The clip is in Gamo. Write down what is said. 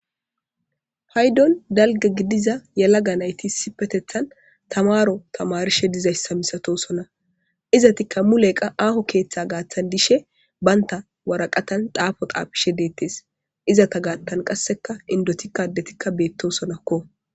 haydon dalga gidiza yalaga nayti issipetethan tamaro tamarishe dizayssa misatosona izatikka muleqa aaho keeththa gaaththan dishe baynta waraqatan daafo qaafishe deettes izata gaattan qasseka indotikkadetikka beettosonakko